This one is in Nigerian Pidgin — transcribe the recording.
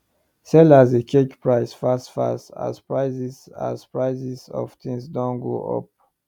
sellers dey change price fast fast as prices as prices of things doh go up